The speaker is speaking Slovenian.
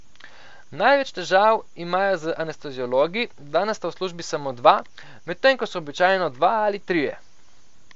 Največ težav imajo z anesteziologi, danes sta v službi samo dva, medtem ko so običajno dva ali trije.